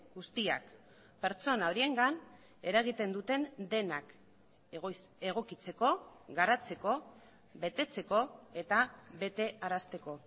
guztiak pertsona horiengan eragiten duten denak egokitzeko garatzeko betetzeko eta betearazteko